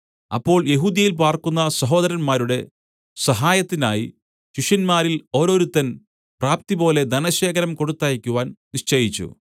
അപ്പോൾ യെഹൂദ്യയിൽ പാർക്കുന്ന സഹോദരന്മാരുടെ സഹായത്തിനായി ശിഷ്യന്മാരിൽ ഓരോരുത്തൻ പ്രാപ്തിപോലെ ധനശേഖരം കൊടുത്തയയ്ക്കുവാൻ നിശ്ചയിച്ചു